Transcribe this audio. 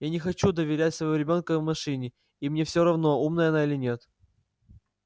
я не хочу доверять своего ребёнка машине и мне все равно умная она или нет